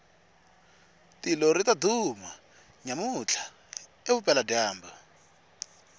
tilo ritaduma nyamutla evupela jambu